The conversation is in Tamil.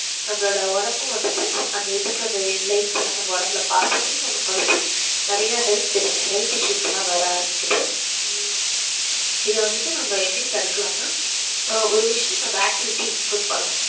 நம்மளோட ஒடம்பு வந்துட்டு அந்த இதுக்கு அது life லாம் நாம ஒடம்பு ல பாஸ் ஆகி நம்மக்கு வந்துட்டு நெறைய health health issue லா வர ஆரம்பிக்குது ஹம் இத வந்து நம்ம எப்புடி தடுக்கலாம் னா ஒரு விஷயம் நம்ம activity include பண்ணனும்